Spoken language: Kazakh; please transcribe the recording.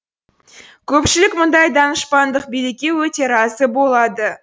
көпшілік мұндай данышпандық билікке өте разы болады